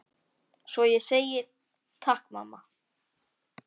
Svo ég segi: Takk mamma.